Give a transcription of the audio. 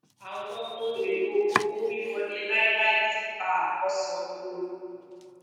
awọn ohun elo owowiwọle lai lai tiipa akọsan owo wọn